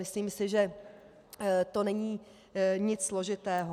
Myslím si, že to není nic složitého.